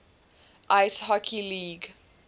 ice hockey league